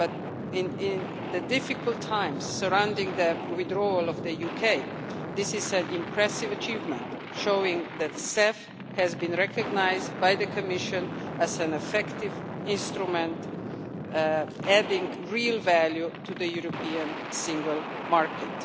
During the difficult times surrounding the withdrawal of the UK, this is an impressive achievement, showing that the CEF has been recognised by the Commission as an effective instrument, adding real value to the European single market.